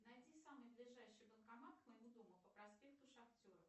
найди самый ближайший банкомат к моему дому по проспекту шахтеров